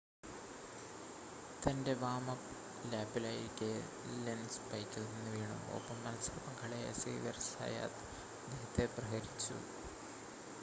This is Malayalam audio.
തൻ്റെ വാം-അപ്പ് ലാപ്പിലായിരിക്കെ ലെൻസ് ബൈക്കിൽ നിന്ന് വീണു ഒപ്പം മത്സര പങ്കാളിയായ സേവ്യർ സയാത്ത് അദ്ദേഹത്തെ പ്രഹരിച്ചു